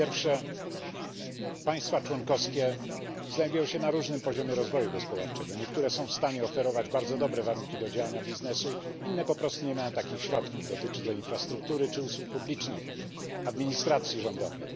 Po pierwsze, państwa członkowskie znajdują się na różnym poziomie rozwoju gospodarczego niektóre są w stanie oferować bardzo dobre warunki do działania biznesu, inne po prostu nie mają takich środków. Dotyczy to infrastruktury czy usług publicznych, administracji rządowej.